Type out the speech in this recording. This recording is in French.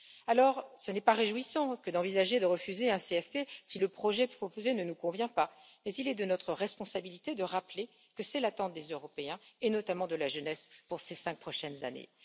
Il n'est donc pas réjouissant d'envisager de refuser un CFP si le projet proposé ne nous convient pas, mais il est de notre responsabilité de rappeler que c'est l'attente des Européens, et notamment de la jeunesse, pour ces cinq prochaines années.